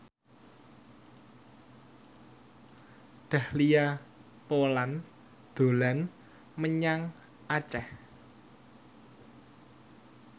Dahlia Poland dolan menyang Aceh